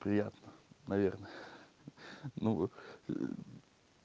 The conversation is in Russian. приятно наверное ну м